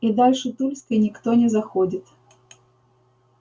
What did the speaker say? и дальше тульской никто не заходит